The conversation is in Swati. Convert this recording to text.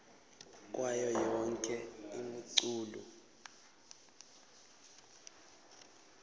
kwayo yonkhe imiculu